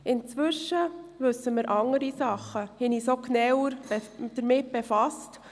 Inzwischen wissen wir mehr, und wir haben uns auch genauer damit befasst.